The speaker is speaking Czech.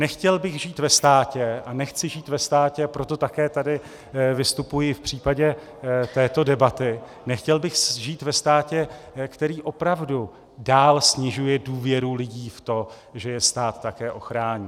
Nechtěl bych žít ve státě a nechci žít ve státě - proto také tady vystupuji v případě této debaty - nechtěl bych žít ve státě, který opravdu dál snižuje důvěru lidí v to, že je stát také ochrání.